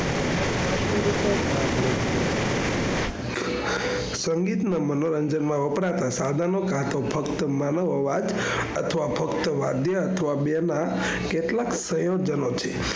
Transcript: સંગીત માં મનોરંજન માં વપરાતા સાધનો કે તો ફક્ત માનવ અવાજ અથવા ફક્ત વધ્યા અથવા બેના કેટલાક સંયોજનો છે.